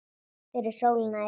Fyrir sólina er til dæmis